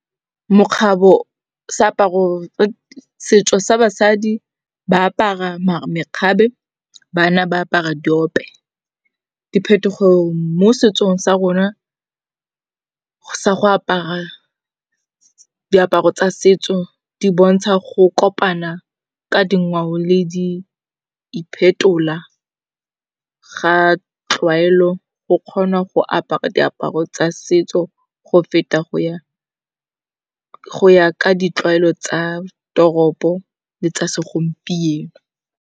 Setso sa basadi ba apara makgabe bana ba apara diope. Diphetogo mo setsong sa rona, sa go apara diaparo tsa setso di bontsha go kopana ka dingwao le di iphetola ga tlwaelo. Go kgona go apara diaparo tsa setso go feta go ya ka ditlwaelo tsa toropo le tsa segompieno.